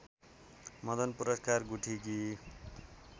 Madan Puraskar गुठीकी